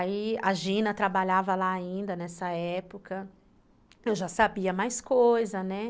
Aí, a Gina trabalhava lá ainda nessa época, eu já sabia mais coisa, né?